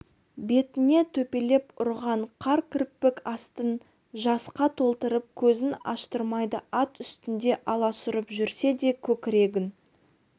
бетіне төпелеп ұрған қар кірпік астын жасқа толтырып көзін аштырмайды ат үстінде аласұрып жүрсе де көкірегін